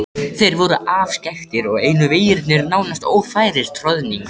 Þeir voru afskekktir og einu vegirnir nánast ófærir troðningar.